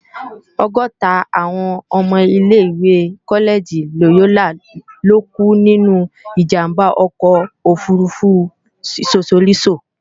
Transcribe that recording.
ọgọ́ta àwọn ọmọ ilé-ìwé kọ́lẹ́gì Lòyólà lókú nínú ìjàmbá ọkọ̀ òfurufú Sosolísò